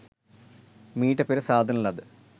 මීට පෙර සාදන ලද